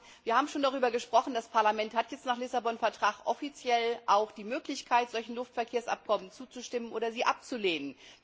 Wir haben schon darüber gesprochen, das Parlament hat jetzt nach dem Vertrag von Lissabon auch die Möglichkeit, solchen Luftverkehrsabkommen zuzustimmen oder sie abzulehnen.